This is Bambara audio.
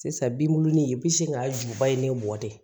Sisan binnunni i bɛ sin k'a juba ye ne mɔ de